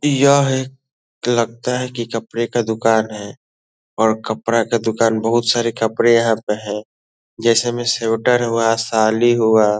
यह लगता है कि कपड़े का दूकान है और कपड़ा का दूकान बहुत सारे कपड़े यहाँ पे हैं जैसे में स्वेटर हुआ शॉल ई हुआ।